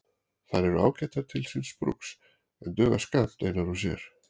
Þær eru ágætar til síns brúks en duga skammt einar og sér.